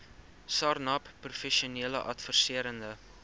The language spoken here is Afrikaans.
sarnap professionele adviserende